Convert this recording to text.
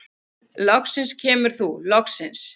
Loksins kemur þú, loksins!